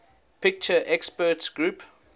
picture experts group